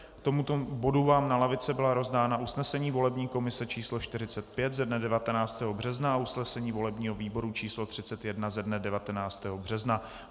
K tomuto bodu vám na lavice byla rozdána usnesení volební komise číslo 45 ze dne 19. března a usnesení volebního výboru číslo 31 ze dne 19. března.